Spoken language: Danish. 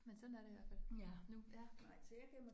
Men sådan er det i hvert fald nu